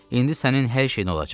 İndi sənin hər şeyin olacaq.